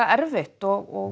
er þreytt og